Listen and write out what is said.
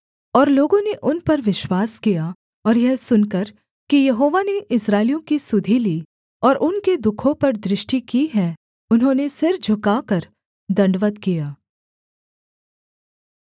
और लोगों ने उन पर विश्वास किया और यह सुनकर कि यहोवा ने इस्राएलियों की सुधि ली और उनके दुःखों पर दृष्टि की है उन्होंने सिर झुकाकर दण्डवत् किया